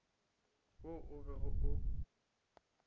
wo o bego o o